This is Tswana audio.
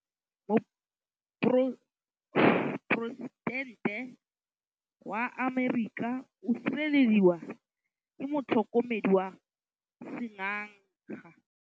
Poresitêntê wa Amerika o sireletswa ke motlhokomedi wa sengaga.